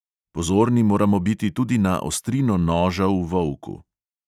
Pozorni moramo biti tudi na ostrino noža v volku.